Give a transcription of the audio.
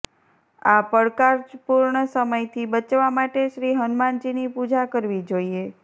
આ પડકારપુર્ણ સમયથી બચવા માટે શ્રી હનુમાનજીની પૂજા કરવી જોઈએ